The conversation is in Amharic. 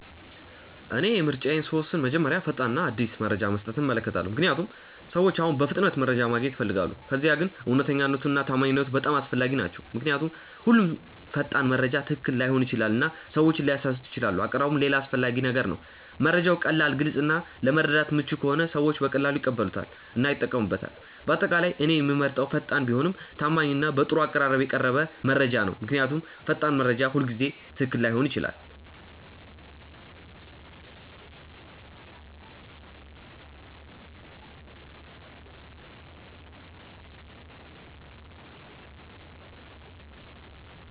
እኔ ምርጫዬን ስወስን መጀመሪያ ፈጣን እና አዲስ መረጃ መስጠቱን እመለከታለሁ፣ ምክንያቱም ሰዎች አሁን በፍጥነት መረጃ ማግኘት ይፈልጋሉ። ከዚያ ግን እውነተኛነት እና ታማኝነት በጣም አስፈላጊ ናቸው ምክንያቱም ሁሉም ፈጣን መረጃ ትክክል ላይሆን ይችላል እና ሰዎችን ሊያሳስት ይችላል አቀራረብም ሌላ አስፈላጊ ነገር ነው፤ መረጃው ቀላል፣ ግልጽ እና ለመረዳት ምቹ ከሆነ ሰዎች በቀላሉ ይቀበሉታል እና ይጠቀሙበታል። በአጠቃላይ እኔ የምመርጠው ፈጣን ቢሆንም ታማኝ እና በጥሩ አቀራረብ የቀረበ መረጃ ነው። ምክንያቱም ፈጣን መረጃ ሁልጊዜ ትክክል ላይሆን ይችላል።